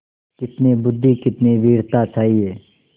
कितनी बुद्वि कितनी वीरता चाहिए